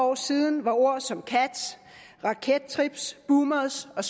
år siden var ord som kat rakettrip boomers og